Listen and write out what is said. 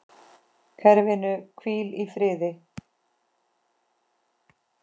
Kæri vinur, hvíl í friði.